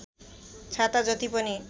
छाता जति पनि